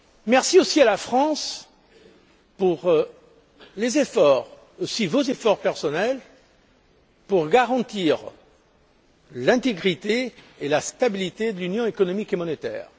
Merci aussi à la France pour ses efforts, et aussi pour vos efforts personnels, visant à garantir l'intégrité et la stabilité de l'Union économique et monétaire.